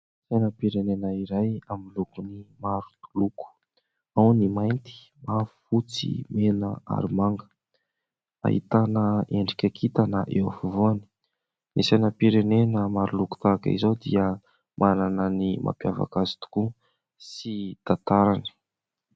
Ny sainam-pirenena iray amin'ny lokony maro loko ao ny : mainty, mavo, fotsy, mena ary manga ; ahitana endrika kintana eo afovoany. Ny sainam-pirenena maro loko tahaka izao dia manana ny mampiavaka azy tokoa sy tantarany.